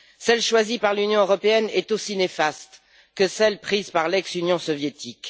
Celle choisie par l'Union européenne est aussi néfaste que celle prise par l'ex Union soviétique.